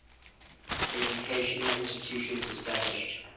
educational institutions established